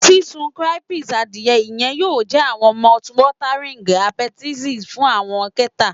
Sisun crispy adie iyẹ yoo jẹ awọn mouthwatering appetizer fun awọn kẹta.